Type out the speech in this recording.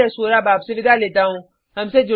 मैं यश वोरा आपसे विदा लेता हूँ